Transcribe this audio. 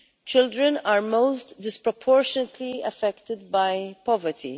Children are most disproportionately affected by poverty.